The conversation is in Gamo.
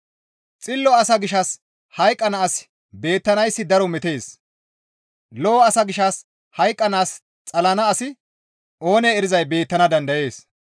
Xillo asa gishshas hayqqana asi beettanayssi daro metees. Lo7o asa gishshas hayqqanaas xalana asi oonee erizay beettana dandayees.